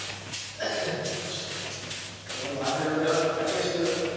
তোমার ভাষা গুলো,